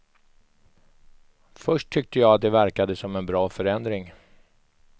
Först tyckte jag att det verkade som en bra förändring.